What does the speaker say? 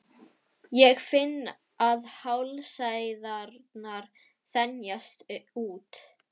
Ég finn að hálsæðarnar þenjast út.